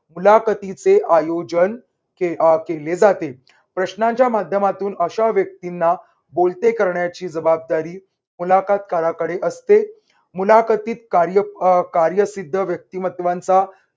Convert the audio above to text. मुलाखतीचे आयोजन आह केले जाते. प्रश्नाच्या माध्यमातून अशा व्यक्तींना बोलते करण्याची जबाबदारी मुलाखत काराकडे असते. मुलाखतीत कार्य अह कार्यसिद्ध व्यक्तिमत्वांचा